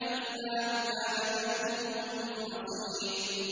إِلَّا عِبَادَكَ مِنْهُمُ الْمُخْلَصِينَ